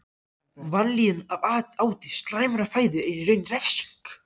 Vanlíðan af áti slæmrar fæðu er í raun refsing.